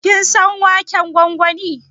Ka san waken gwangwani?